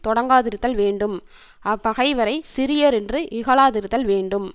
தொடங்காதிருத்தல் வேண்டும் அப்பகைவரைச் சிறியர் என்று இகழாதிருத்தல் வேண்டும்